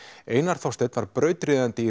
einar Þorsteinn var brautryðjandi í